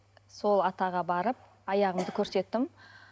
сол атаға барып аяғымды көрсеттім